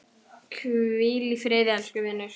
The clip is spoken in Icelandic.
Hvíl í friði elsku vinur.